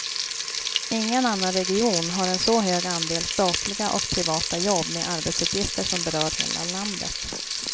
Ingen annan region har en så hög andel statliga och privata jobb med arbetsuppgifter som berör hela landet.